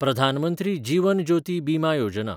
Pradhan Mantri Jeevan Jyoti Bima Yojana